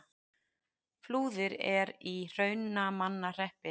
Flúðir er í Hrunamannahreppi.